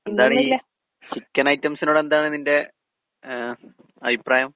എന്താണീ chicken ഐറ്റംസിനോടെന്താണ് നിന്റെ ഏ അഭിപ്രായം?